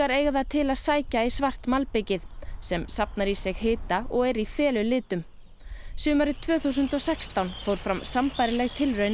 eiga það til að sækja í svart malbikið sem safnar í sig hita og er í felulitum sumarið tvö þúsund og sextán fór fram sambærileg tilraun á